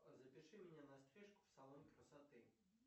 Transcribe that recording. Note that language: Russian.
запиши меня на стрижку в салон красоты